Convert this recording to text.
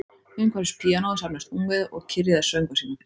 Umhverfis píanóið safnaðist ungviðið og kyrjaði söngva sína